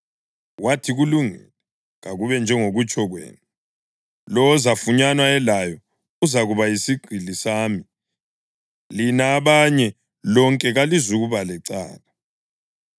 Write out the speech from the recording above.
Wathi, “Kulungile, kakube njengokutsho kwenu. Lowo ozafunyanwa elayo uzakuba yisigqili sami, lina abanye lonke kalizukuba lecala.”